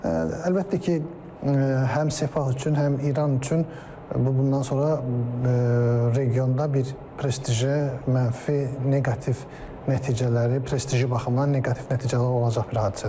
Əlbəttə ki, həm Sepah üçün, həm İran üçün bu bundan sonra regionda bir prestijə mənfi, neqativ nəticələri, prestiji baxımından neqativ nəticələr olacaq bir hadisədir.